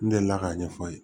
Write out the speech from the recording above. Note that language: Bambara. N delila k'a ɲɛfɔ a ye